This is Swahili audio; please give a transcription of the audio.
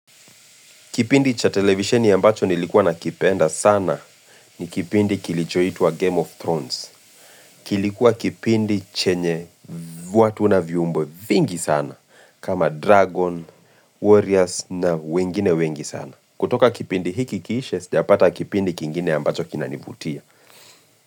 Kipindi cha televisioni ambacho nilikuwa na kipenda sana ni kipindi kilicho hituwa game of Thrones. Kilikuwa kipindi chenye vatu na viumbo vingi sana kama Dragon, Warriors na wengine wengi sana. Kutoka kipindi hiki kiishe, jsiapata kipindi kingine ambacho kinanivutia.